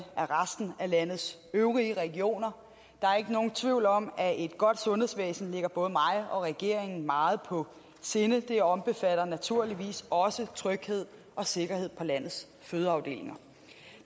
af landets øvrige regioner der er ikke nogen tvivl om at et godt sundhedsvæsen ligger både mig og regeringen meget på sinde det omfatter naturligvis også tryghed og sikkerhed på landets fødeafdelinger